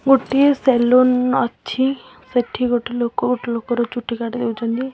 ଗୋଟିଏ ସେଲୁନ ଅଛି ସେଠି ଗୋଟେ ଲୋକ ଗୋଟେ ଲୋକ ର ଚୁଟି କାଟି ଦଉଛନ୍ତି।